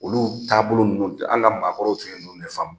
Olu taabolo ninnu an ka maakɔrɔ tun ye ninnu de faamu